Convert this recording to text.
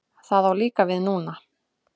Það á líka við núna.